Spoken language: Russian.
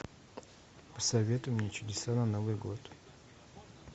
посоветуй мне чудеса на новый год